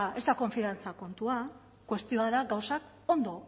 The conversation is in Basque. ez da konfidantza kontua kuestioa da gauzak ondo